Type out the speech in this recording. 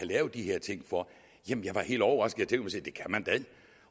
lave de her ting for jamen jeg var helt overrasket